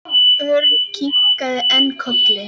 Örn kinkaði enn kolli.